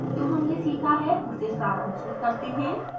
जो हमने सिखा है उसे सारांशित करते हैं